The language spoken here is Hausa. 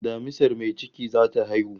Damisar mai ciki zata haihu